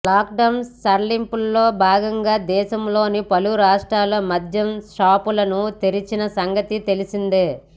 lock down సడలింపుల్లో భాగంగా దేశంలోని పలు రాష్ట్రాల్లో మద్యం షాపులను తెరిచిన సంగతి తెలిసిందే